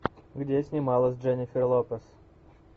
где снималась дженнифер лопес